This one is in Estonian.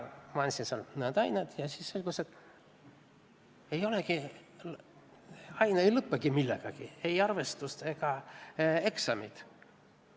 Ma andsin seal mõned ained ja siis selgus, et aine ei lõppegi millegagi, ei arvestuse ega eksamiga.